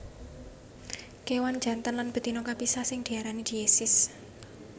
Kéwan jantan lan betina kapisah sing diarani diesis